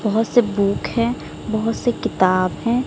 बहोत से बुक हैं बहोत से किताब हैं।